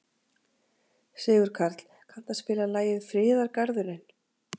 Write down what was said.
Sigurkarl, kanntu að spila lagið „Friðargarðurinn“?